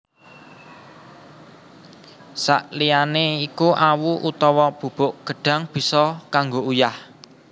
Sakliyané iku awu utawa bubuk gedhang bisa kanggo uyah